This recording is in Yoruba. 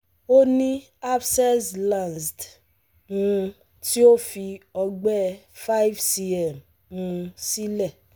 Ó ní abscess lanced um tí ó fi ọgbẹ́ five cm um sílẹ̀